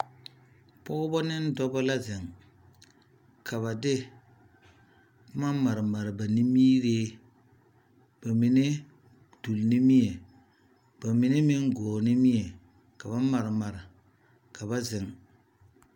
pɔgeba ne Dɔba la zeŋ, ka de boma mare mare ba nimiiree, ba mine duur nimie ba mine meŋ gɔɔ nimie ka ba mare mare ka ba zeŋ.